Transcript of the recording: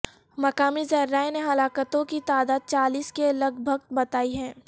مقامی ذرائع نے ہلاکتوں کی تعداد چالیس کے لگ بھگ بتائی ہے